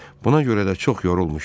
Buna görə də çox yorulmuşdu.